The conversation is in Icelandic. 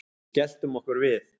Við skelltum okkur við